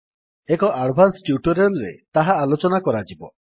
ଏକ advance tutorial ରେ ତାହା ଆଲୋଚନା କରାଯିବ